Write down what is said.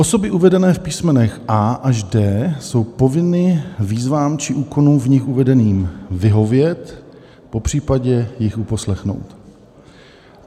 Osoby uvedené v písmenech a) až d) jsou povinny výzvám či úkonům v nich uvedeným vyhovět, popřípadě jich uposlechnout.